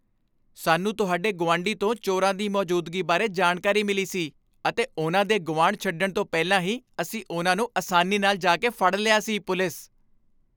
ਸਾਨੂੰ ਤੁਹਾਡੇ ਗੁਆਂਢੀ ਤੋਂ ਚੋਰਾਂ ਦੀ ਮੌਜੂਦਗੀ ਬਾਰੇ ਜਾਣਕਾਰੀ ਮਿਲੀ ਸੀ ਅਤੇ ਉਨ੍ਹਾਂ ਦੇ ਗੁਆਂਢ ਛੱਡਣ ਤੋਂ ਪਹਿਲਾਂ ਹੀ ਅਸੀਂ ਉਨ੍ਹਾਂ ਨੂੰ ਆਸਾਨੀ ਨਾਲ ਜਾ ਕੇ ਫੜ ਲਿਆ ਸੀ ਪੁਲਿਸ